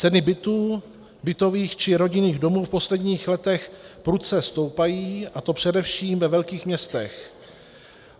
Ceny bytů, bytových či rodinných domů v posledních letech prudce stoupají, a to především ve velkých městech.